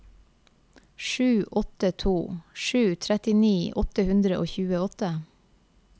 sju åtte to sju trettini åtte hundre og tjueåtte